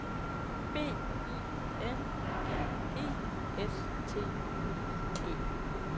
B I N D E S T U E